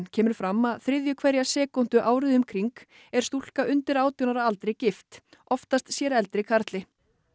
kemur fram að þriðju hverja sekúndu árið um kring er stúlka undir átján ára aldri gift oftast sér eldri karli